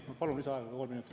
Ma palun lisaaega kolm minutit.